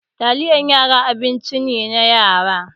Taliyan yara abincin yara ne.